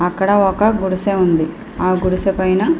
అక్కడ ఒక గుడిసె ఉంది ఆ గుడిస పైన --